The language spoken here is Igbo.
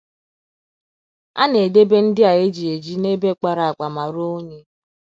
A na - edebe ndị a e ji eji n’ebe kpara akpa ma ruo unyi.